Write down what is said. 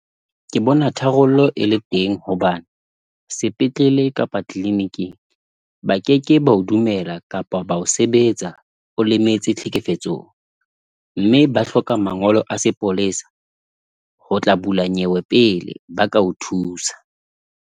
Ke bona tharollo e le teng hobane sepetlele kapa clinic-ing ba keke bao dumela kapa ba o sebetsa o lemetse tlhekefetsong mme ba hloka mangolo a sepolesa ho tla bula nyewe pele ba ka o thusa.